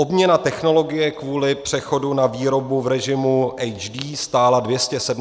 obměna technologie kvůli přechodu na výrobu v režimu HD stála 270 mil. korun.